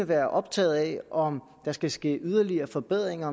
være optaget af om der skal ske yderligere forbedringer